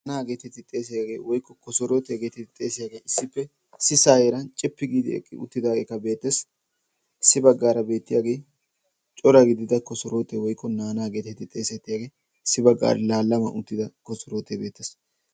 "naannaa"geetetti xeesiyaagee woykko "kosorootiyaa" geeteddi xeesiyaagee issippe issisaa heeran cippi giidi eqqi uttidaageekka beettees. issi baggaara beettiyaagee cora gidida kosorootee woikko "naanaa" geetetti xeesettiyaagee issi baggaara laallama uttida kosorootee beettes.